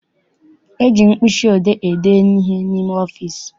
E ji mkpịsị odee ede ihe n'ime ọfịịsi.